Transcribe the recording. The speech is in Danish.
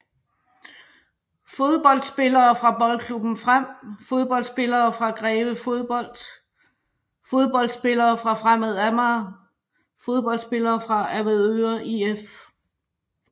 Fodboldspillere fra Boldklubben Frem Fodboldspillere fra Greve Fodbold Fodboldspillere fra Fremad Amager Fodboldspillere fra Avedøre IF